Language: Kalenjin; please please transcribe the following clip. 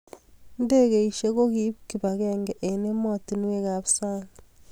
Ndegeishek ko koip kibag'eng'e eng ematinwek ab sang'